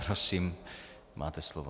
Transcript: Prosím, máte slovo.